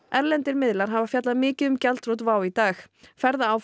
erlendir miðlar hafa fjallað mikið um gjaldþrot WOW í dag